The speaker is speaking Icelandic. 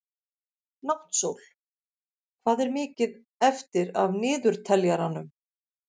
Náttsól, hvað er mikið eftir af niðurteljaranum?